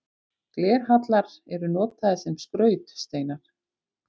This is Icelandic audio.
Glerhallar eru notaðir sem skrautsteinar.